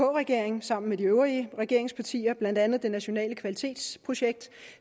regering sammen med de øvrige regeringspartier blandt andet det nationale kvalitetsprojekt